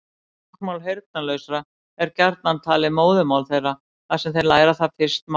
Táknmál heyrnarlausra er gjarnan talið móðurmál þeirra þar sem þeir læra það fyrst mála.